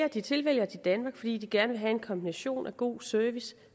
at de tilvælger danmark fordi de gerne vil have en kombination af god service